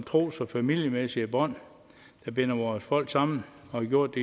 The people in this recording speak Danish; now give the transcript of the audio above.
tros og familiemæssige bånd der binder vores folk sammen og har gjort